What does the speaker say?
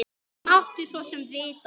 Mátti svo sem vita það.